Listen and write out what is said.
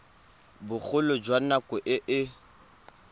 bogolo jwa nako e e